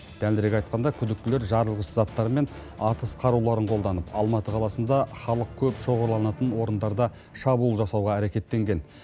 дәлірек айтқанда күдіктілер жарылғыш заттар мен атыс қаруларын қолданып алматы қаласында халық көп шоғырланатын орындарда шабуыл жасауға әрекеттенген